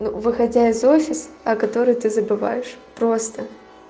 ну выходя из офис о которой ты забываешь просто